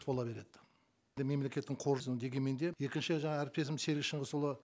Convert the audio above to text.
тола береді мемлекеттің дегенмен де екінші жаңа әріптесім серік шыңғысұлы